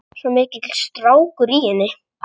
Svo mikill strákur í henni.